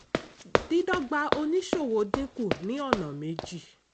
dídọ́gba oníṣòwò dínkù ní ọ̀nà méjì.